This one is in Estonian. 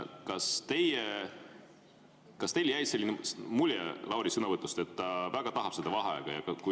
Kas teil jäi selline mulje Lauri sõnavõtust, et ta väga tahab seda vaheaega?